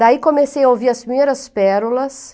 Daí comecei a ouvir as primeiras pérolas,